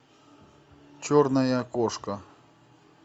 черная кошка